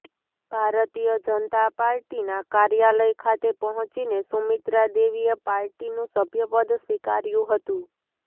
ભારતીય જનતા પાર્ટીના કાર્યાલય ખાતે પહોંચીને સુમિત્રા દેવીએ પાર્ટીનું સભ્યપદ સ્વીકાર્યું હતું